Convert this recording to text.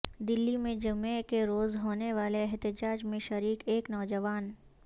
دلی میں جمعے کے روز ہونے والے احتجاج میں شریک ایک نوجوان